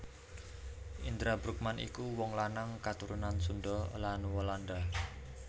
Indra Bruggman iku wong lanang katurunan Sunda lan Walanda